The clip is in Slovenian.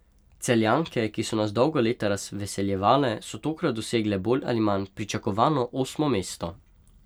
Celjanke, ki so nas dolga leta razveseljevale, so tokrat dosegle bolj ali manj pričakovano osmo mesto.